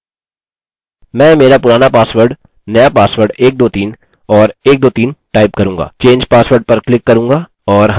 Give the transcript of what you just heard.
मैं मेरा पुराना पासवर्ड नया पासवर्ड 123 और 123 टाइप करूँगा change password पर क्लिक करूँगा और हमें success मिलता है